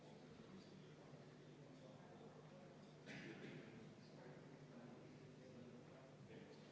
Tulemusega poolt 39, vastu 0 ja erapooletuid 1, leidis ettepanek toetust.